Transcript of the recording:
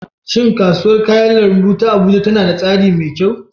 Shin Kasuwar kayan lambu ta Abuja tana da tsari mai kyau?